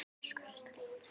Elsku stelpan mín.